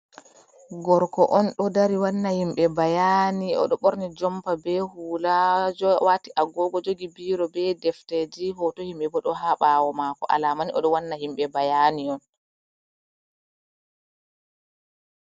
Gorko on ɗo dari wanna himɓe bayani, oɗo ɓorni jompa be hula, wati a gogo jogi biro be defteji, hoto himɓe bo ɗo ha ɓawo mako, alamani oɗo wanna himɓe bayani on.